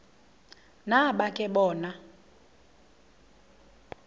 nabo ke bona